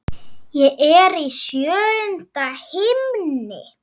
Ég er í sjöunda himni.